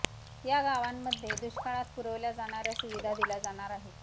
या गावांमध्ये दुष्काळात पुरविल्या जाणाऱ्या सुविधा दिल्या जाणार आहेत